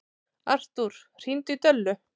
Artúr, hringdu í Döllu.